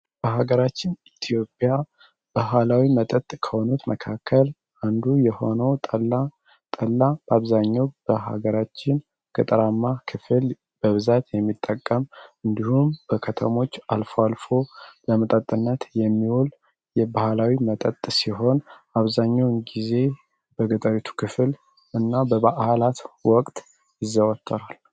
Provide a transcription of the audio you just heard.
በሀገራችን ኢትዮጵያ በኋላዊ መጠጥ ከሆኑት መካከል አንዱ የሆኖ ጠላ በአብዛኛው በሀገራችን ቅጠራማ ክፍል በብዛት የሚጠቀም እንዲሁም በከተሞች አልፎ አልፎ ለመጠጥነት የሚወል የባህላዊ መጠጥ ሲሆን አብዛኘውን ጊዜ በግጠሪቱ ክፍል እና በበህላት ወቅት ይዘወተራል።